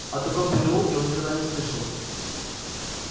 о таком переулке он никогда не слышал